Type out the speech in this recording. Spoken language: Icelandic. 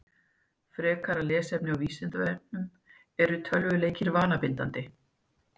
Frekara lesefni á Vísindavefnum: Eru tölvuleikir vanabindandi?